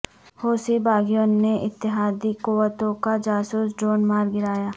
حوثی باغیوں نے اتحادی قوتوں کا جاسوس ڈرون مار گرایا